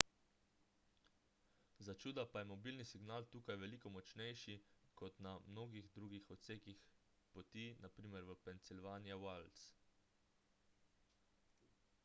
začuda pa je mobilni signal tukaj veliko močnejši kot na mnogih drugih odsekih poti npr. v pennsylvania wilds